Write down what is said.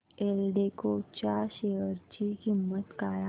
एल्डेको च्या शेअर ची किंमत काय आहे